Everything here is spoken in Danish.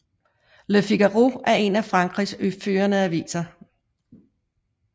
Le Figaro er en af Frankrigs førende aviser